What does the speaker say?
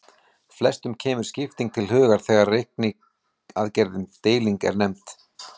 Flestum kemur skipting til hugar þegar reikniaðgerðin deiling er nefnd.